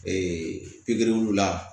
pikiriw la